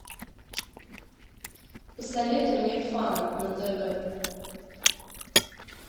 посоветуй мне фан на тв